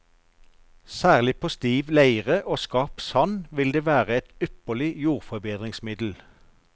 Særlig på stiv leire og skarp sand vil den være et ypperlig jordforbedringsmiddel.